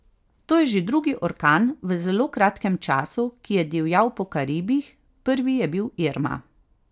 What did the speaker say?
To je že drugi orkan v zelo kratkem času, ki je divjal po Karibih, prvi je bil Irma.